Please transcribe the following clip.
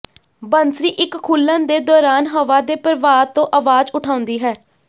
ਬੰਸਰੀ ਇੱਕ ਖੁੱਲਣ ਦੇ ਦੌਰਾਨ ਹਵਾ ਦੇ ਪ੍ਰਵਾਹ ਤੋਂ ਆਵਾਜ਼ ਉਠਾਉਂਦੀ ਹੈ